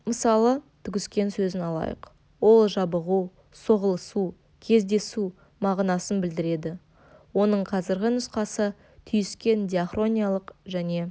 мысалы түгіскен сөзін алайық ол жабығу соғылысу кездесу мағынасын білдіреді оның қазіргі нұсқасы түйіскен диахрониялық және